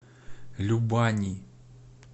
любани